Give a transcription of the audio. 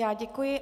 Já děkuji.